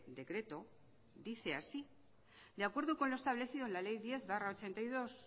decreto dice así de acuerdo con lo establecido en la ley diez barra ochenta y dos